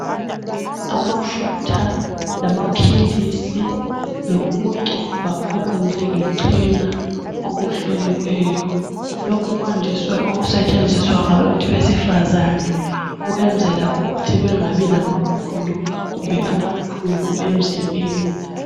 Amafutha lamaphilisi lokokugcoba okwenziwe ngechena okuhloliweyo lokhu kwandiswe ukusetshenziswa ngabantu besifazane ukwenzela ukuthi bangabi lamapundu kumbe amaqhubu emzimbeni